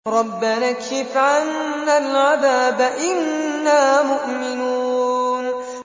رَّبَّنَا اكْشِفْ عَنَّا الْعَذَابَ إِنَّا مُؤْمِنُونَ